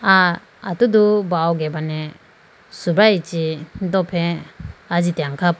Ah atudu bawo gebane subrayi chi dofre ajitene khapo.